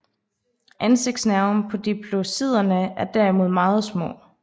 Ansigtsnerven på diplodociderne er derimod meget små